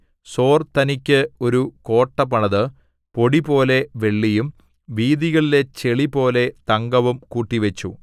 സോർ തനിക്ക് ഒരു കോട്ട പണിത് പൊടിപോലെ വെള്ളിയും വീഥികളിലെ ചെളിപോലെ തങ്കവും കൂട്ടിവച്ചു